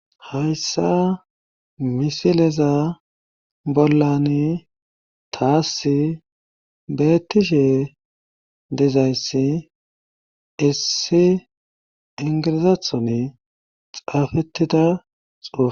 hayssa misileza bollan taass bettishe dezayssi issi ingirizathon xaafettida xufe